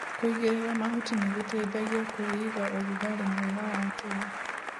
Kũigĩrĩra mahuti nĩgũteithagia kwĩiga ũrugarĩ mwega wa tĩri.